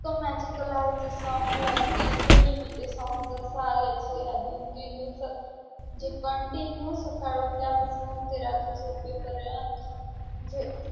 इतकं magical आहे ते song literally मी ते song जसं आलंय ते या दोन-तीन दिवसात जे continue सकाळ उठल्यापासनं ते रात्री झोपेपर्यंत म्हणजे